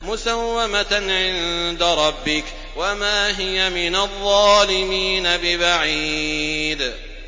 مُّسَوَّمَةً عِندَ رَبِّكَ ۖ وَمَا هِيَ مِنَ الظَّالِمِينَ بِبَعِيدٍ